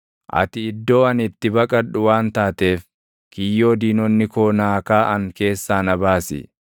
Ati iddoo ani itti baqadhu waan taateef, kiyyoo diinonni koo naa kaaʼan keessaa na baasi.